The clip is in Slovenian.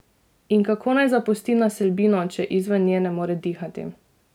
In kako naj zapusti naselbino, če izven nje ne more dihati?